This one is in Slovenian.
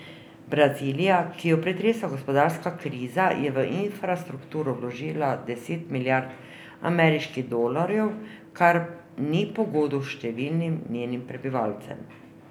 Brazilija, ki jo pretresa gospodarska kriza, je v infrastrukturo vložila deset milijard ameriških dolarjev, kar ni pogodu številnim njenim prebivalcem.